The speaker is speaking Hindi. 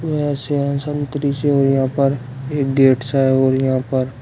से है यहां पर एक गेट सा है और यहां पर--